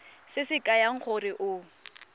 se se kaya gore o